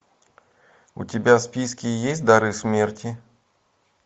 у тебя в списке есть дары смерти